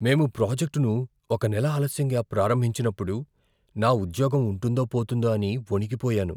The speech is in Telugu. మేము ప్రాజెక్ట్ను ఒక నెల ఆలస్యంగా ప్రారంభించినప్పుడు, నా ఉద్యోగ ఉంటుందో పోతుందో అని వణికిపోయాను.